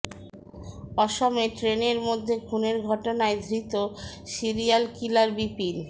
অসমে ট্রেনের মধ্যে খুনের ঘটনায় ধৃত সিরিয়াল কিলার বিপিন